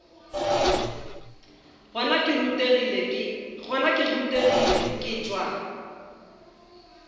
gona ke rutegile ke tšwa